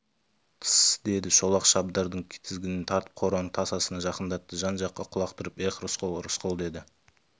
тсс деді шолақ шабдардың тізгінін тартып қораның тасасына жақындатты жан-жаққа құлақ түріп эх рысқұл рысқұл деді